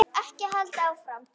Ekki halda áfram.